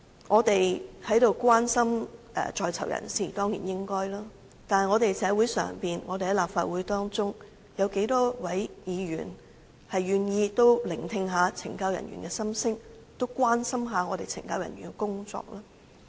我們當然應該關心在囚人士，但在社會上、在立法會中，又有多少議員願意聆聽懲教人員的心聲，關心懲教人員的工作呢？